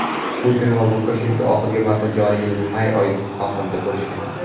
Putin va Lukashenko oxirgi marta joriy yilning may oyi oxirida ko‘rishgan.